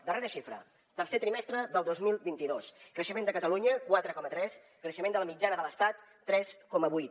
darrera xifra tercer trimestre del dos mil vint dos creixement de catalunya quatre coma tres creixement de la mitjana de l’estat tres coma vuit